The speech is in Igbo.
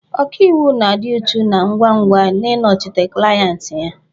Ọkaiwu na-adị uchu na ngwa ngwa n'ịnọchite klayenti ya.